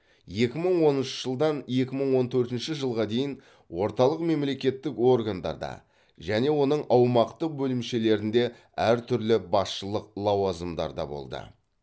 екі мың оныншы жылдан екі мың он төртінші жылға дейін орталық мемлекеттік органдарда және оның аумақтық бөлімшелерінде әртүрлі басшылық лауазымдарда болды